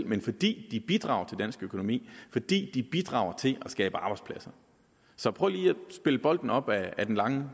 men fordi de bidrager dansk økonomi fordi de bidrager til at skabe arbejdspladser så prøv lige at spille bolden op ad den lange